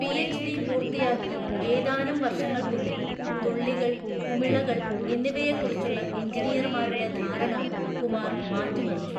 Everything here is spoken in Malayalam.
പിഎച്ച്‌ഡി പൂർത്തിയാക്കി ഏതാനും വർഷങ്ങൾക്കുള്ളിൽ തുള്ളികൾ, കുമിളകൾ എന്നിവയെക്കുറിച്ചുള്ള എഞ്ചിനീയർമാരുടെ ധാരണ കുമാർ മാറ്റിമറിച്ചു.